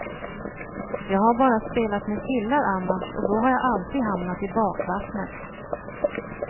Jag har bara spelat med killar annars, och då har jag alltid hamnat i bakvattnet.